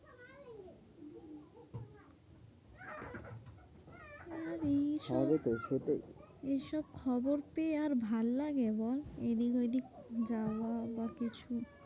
এইসব হবে তো খেটে এইসব খবর পেয়ে আর ভালো লাগে বল? এইদিক ঐদিক যাওয়া বা কিছু।